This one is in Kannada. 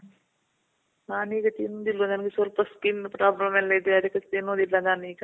ನಾನೀಗ ತಿಂದಿಲ್ಲ . ನನ್ಗೆ ಸ್ವಲ್ಪ skin problem ಎಲ್ಲ ಇದೆ. ಅದಕ್ಕೆ ತಿನ್ನೋದಿಲ್ಲ ನಾನೀಗ.